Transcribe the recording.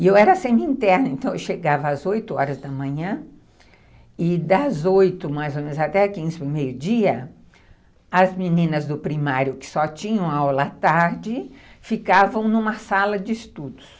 E eu era semi-interna, então eu chegava às oito horas da manhã e das oito mais ou menos até quinze, meio dia, as meninas do primário que só tinham aula à tarde ficavam numa sala de estudos.